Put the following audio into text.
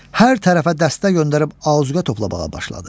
Hər tərəfə dəstə göndərib azuqə toplamağa başladı.